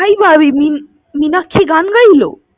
তাই ভাবি, মীনাক্ষী গান গাইলো?